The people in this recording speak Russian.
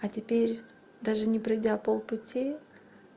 а теперь даже не пройдя пол пути